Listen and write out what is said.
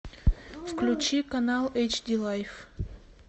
включи канал эйч ди лайф